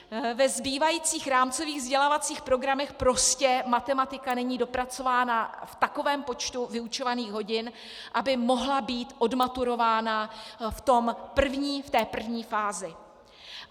Ve zbývajících rámcových vzdělávacích programech prostě matematika není dopracována v takovém počtu vyučovacích hodin, aby mohla být odmaturována v té první fázi.